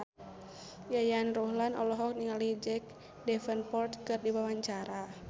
Yayan Ruhlan olohok ningali Jack Davenport keur diwawancara